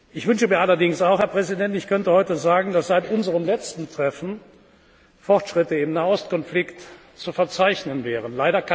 Ich wünsche mir allerdings auch, Herr Präsident, ich könnte heute sagen, dass seit unserem letzten Treffen Fortschritte im Nahost Konflikt zu verzeichnen wären.